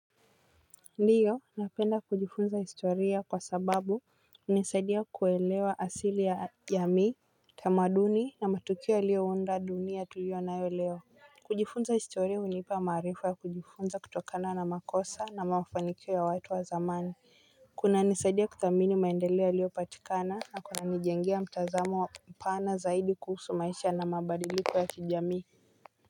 Ndiyo napenda kujifunza historia kwa sababu hunisaidia kuwelewa asili ya jamii tamaduni na matukio yalio unda dunia tulio nayo leo kujifunza historia hunipa maarifa ya kujifunza kutokana na makosa na mafanikio ya watu wa zamani kunanisaidia kuthamini maendeleo yaliyopatikana na kunanijengea mtazamo wa mpana zaidi kuhusu maisha na mabadiliko ya kijamii.